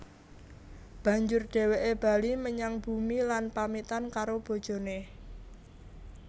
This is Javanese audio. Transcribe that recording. Banjur dhèwèké bali menyang bumi lan pamitan karo bojoné